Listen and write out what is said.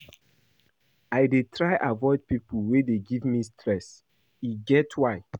I dey try avoid pipo wey dey give me stress, e get why.